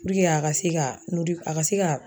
Puruke a ka se ka a ka se ka.